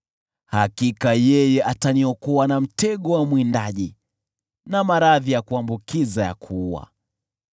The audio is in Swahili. Hakika yeye ataniokoa na mtego wa mwindaji, na maradhi ya kuambukiza ya kuua.